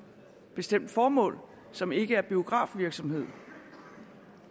bestemt formål som ikke er biografvirksomhed